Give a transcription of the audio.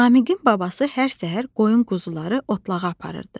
Namiqin babası hər səhər qoyun quzuları otlağa aparırdı.